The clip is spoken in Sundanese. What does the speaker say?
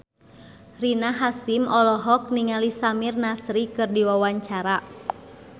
Rina Hasyim olohok ningali Samir Nasri keur diwawancara